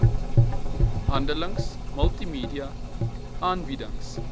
handleidings multimedia aanbiedings